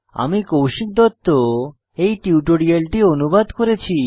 আমি কৌশিক দত্ত এই টিউটোরিয়ালটি অনুবাদ করেছি